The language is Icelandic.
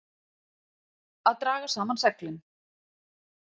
Að draga saman seglin